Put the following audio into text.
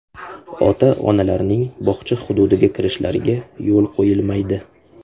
Ota-onalarning bog‘cha hududiga kirishlariga yo‘l qo‘yilmaydi.